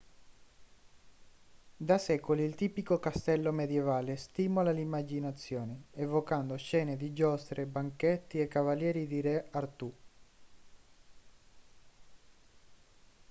da secoli il tipico castello medievale stimola l'immaginazione evocando scene di giostre banchetti e cavalieri di re artù